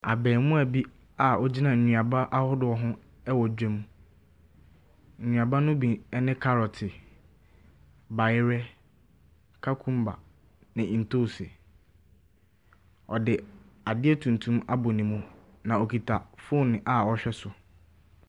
Abarimaabi a ɔgyina nnuaba ahodoɔ ho wɔ dwam. Nnuaba no bi ne kɔrɔte, bayerɛ, kakumba, ne ntoosi. Ɔde adeɛ tuntum abɔ ne mu, na ɔkita foonu a ɔrehwɛ so.